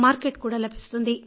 market కూడా లభిస్తుంది